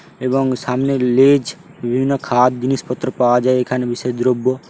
এবং সামনে লেজ বিভিন্ন খাওয়ার জিনিসপত্র পাওয়া যায় এখানে বিশেষ দ্রব্য--